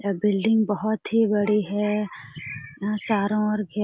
यह बिल्डिंग बहुत ही बड़ी है यहां चारों ओर खेत--